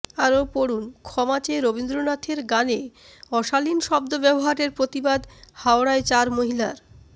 আরও পড়ুনঃ ক্ষমা চেয়ে রবীন্দ্রনাথের গানে অশানীল শব্দ ব্যবহারের প্রতিবাদ হাওড়ায় চার মহিলার